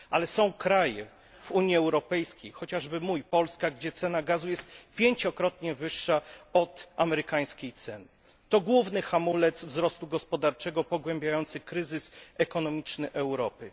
Ale są kraje w Unii Europejskiej chociażby mój, Polska gdzie cena gazu jest 5 krotnie wyższa od amerykańskiej ceny. To główny hamulec wzrostu gospodarczego pogłębiający kryzys ekonomiczny Europy.